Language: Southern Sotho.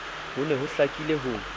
ho ne ho hlakile ho